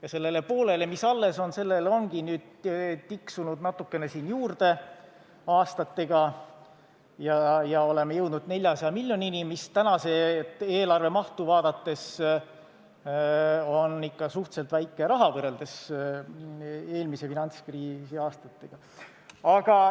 Ja sellele poolele, mis alles jäi, ongi nüüd aastatega tiksunud natukene juurde ja oleme jõudnud 400 miljonini, mis tänast eelarve mahtu vaadates on suhteliselt väike raha, kui võrrelda eelmise finantskriisi aastatega.